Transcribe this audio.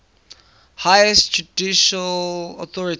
highest judicial authority